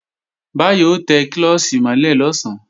Báyọ̀ ó tẹ klọ́ọ̀ṣì mọ́ lẹ̀ lọ̀sán